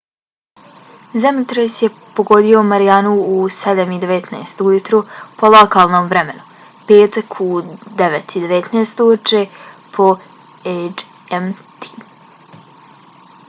zemljotres je pogodio marijanu u 07:19 ujutru po lokalnom vremenu petak u 09:19 uveče po gmt